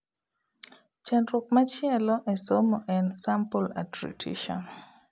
Chandruok machielo e somo en sample attrition